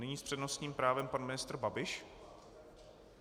Nyní s přednostním právem pan ministr Babiš.